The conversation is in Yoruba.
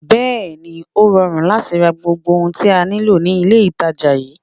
Bẹẹni, ó rọrùn láti ra gbogbo ohun tí a nílò ní ilé itàjà yìí.